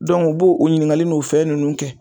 u b'o o ɲininkali n'o fɛn nunnu kɛ